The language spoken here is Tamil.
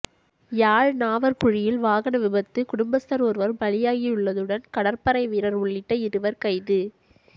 யாழ் நாவற்குழியில் வாகன விபத்து குடும்பஸ்தர் ஒருவர் பலியாகியுள்ளதுடன் கடற்படை வீரர் உள்ளிட்ட இருவர் கைது